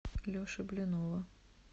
леши блинова